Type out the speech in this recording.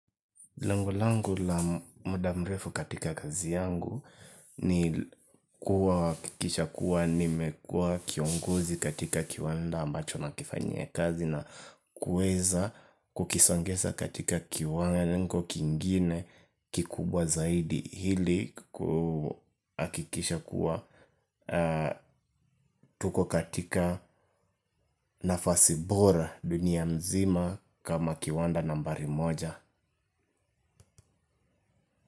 Lengo langu la muda mrefu katika kazi yangu ni kuhakikisha kuwa nimekuwa kiongozi katika kiwanda ambacho nakifanyia kazi na kuweza kukizongeza katika kiwango kingine kikubwa zaidi ili kuhakikisha kuwa tuko katika nafasi bora dunia mzima kama kiwanda nambari moja.